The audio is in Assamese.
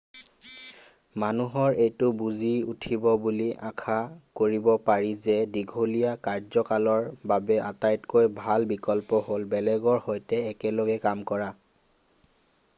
মানুহে এইটো বুজি উঠিব বুলি আশা কৰিব পাৰি যে দীঘলীয়া কাৰ্যকালৰ বাবে আটাইতকৈ ভাল বিকল্প হ'ল বেলেগৰ সৈতে একেলগে কাম কৰা